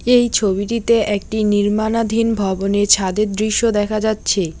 এই ছবিটিতে একটি নির্মানাধীন ভবনে ছাদের দৃশ্য দেখা যাচ্ছে।